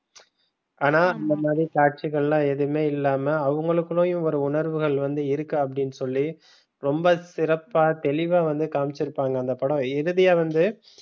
ஆனா இந்த மாதிரி காட்சிகள் எல்லாம் எதுவுமே இல்லாம அவங்களுக்குள்ளயும் ஒரு உணர்வுகள் வந்து இருக்கு அப்படின்னு சொல்லி ரொம்ப சிறப்பா தெளிவா வந்து காமிச்சி இருப்பாங்க அந்த படம் இறுதியாக வந்து,